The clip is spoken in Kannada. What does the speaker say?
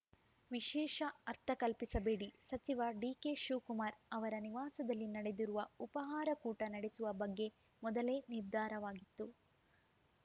ವಿಶೇಷ ಅರ್ಥ ಕಲ್ಪಿಸಬೇಡಿ ಸಚಿವ ಡಿಕೆ ಶಿವಕುಮಾರ್‌ ಅವರ ನಿವಾಸದಲ್ಲಿ ನಡೆದಿರುವ ಉಪಾಹಾರ ಕೂಟ ನಡೆಸುವ ಬಗ್ಗೆ ಮೊದಲೇ ನಿರ್ಧಾರವಾಗಿತ್ತು